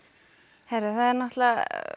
það er náttúrulega